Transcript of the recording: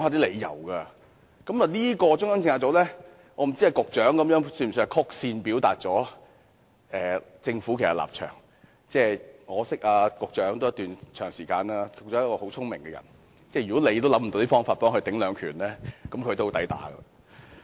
我不知道局長的回應是否曲線表達了政府的立場，我認識局長一段長時間，他是很聰明的人，如果連他也想不到方法為中央政策組抵擋"兩拳"，它也相當"抵打"。